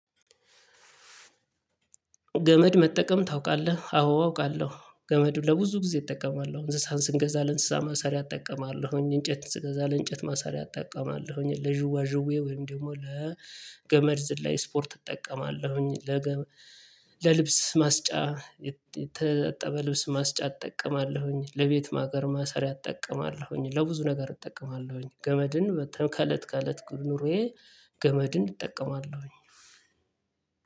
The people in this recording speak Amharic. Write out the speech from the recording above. ገመድ መጠቀም ታውቃለህ? አዎ አውቃለሁ። ገመዱን ለብዙ ጊዜ እጠቀማለሁ እንስሳት ስንገዛ ለእንስሳ ማሳሪያ እጠቀማለሁኝ እንጨት ስንገዛ ለእንጨት ማሳሪያ እጠቀማለሁኝ ለዥዋ ዥዌ ወይም ደሞ ለገመድ ዝላይ ስፖርት እጠቀማለሁኝ ለገመ ለልብስ ማስጫ የተጠበ ልብስ ማስጫ እጠቀማለሁኝ ለቤት ማገር ማሰሪያ እጠቀማለሁኝ ለብዙ ነገር እጠቀማለሁኝ ገመድን ከተን ከለት ከለት ኑሮዬ። ገመድን እጠቀማለሁኝ።